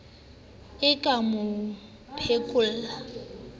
e ke e mo phekole